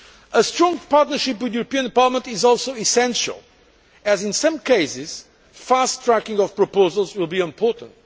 A strong partnership with the European Parliament is also essential, as in some cases, fast tracking of proposals will be important.